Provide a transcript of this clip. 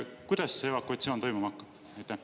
Kuidas see evakuatsioon toimuma hakkab?